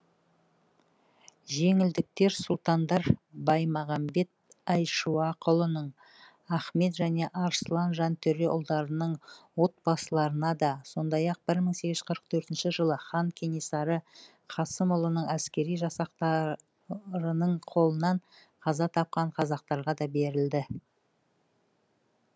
жеңілдіктер сұлтандар баймағамбет айшуақұлының ахмет және арыслан жантөре ұлдарының отбасыларына да сондай ақ бір мың сегіз жүз қырық төртінші жылы хан кенесары қасымұлының әскери жасақтарының қолынан қаза тапқан қазақтарға да берілді